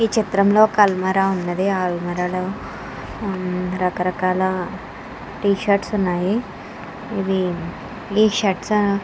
ఈ చిత్రంలో అల్మర ఉన్నది. ఆ అల్మరా లో ఆమ్ రకరకాల టీషర్ట్స్ ఉన్నాయి. ఇవి ఈ షర్ట్స్ అనో--